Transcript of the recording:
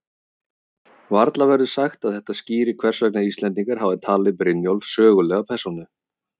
Varla verður sagt að þetta skýri hvers vegna Íslendingar hafa talið Brynjólf sögulega persónu.